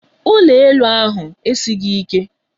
Ụlọ elu ahụ esighị ike.